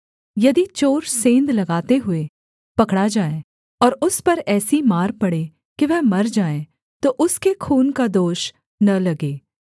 यदि चोर सेंध लगाते हुए पकड़ा जाए और उस पर ऐसी मार पड़े कि वह मर जाए तो उसके खून का दोष न लगे